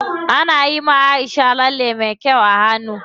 Ana yiwa Aisha lalle me kyau a hannu.